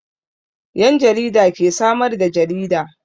Yan jarida ke samar da jarida.